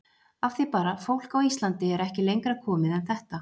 Af því bara, fólk á Íslandi er ekki lengra komið en þetta.